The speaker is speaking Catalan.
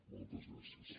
moltes gràcies